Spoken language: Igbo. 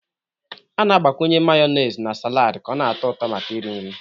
A na-agbakwunye Mayonezi na salad ka ọ na-atọ ụtọ maka iri nri